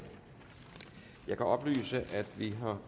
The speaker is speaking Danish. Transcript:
jeg kan oplyse at vi for